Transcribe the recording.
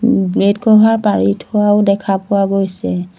Bed cover পাৰি থোৱাও দেখা পোৱা গৈছে।